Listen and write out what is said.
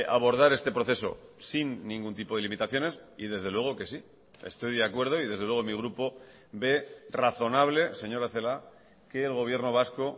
abordar este proceso sin ningún tipo de limitaciones y desde luego que sí estoy de acuerdo y desde luego mi grupo ve razonable señora celaá que el gobierno vasco